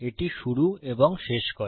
এটি শুরু এবং শেষ করে